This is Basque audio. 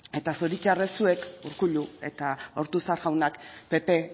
eta zoritzarrez zuek urkullu eta ortuzar jaunak pp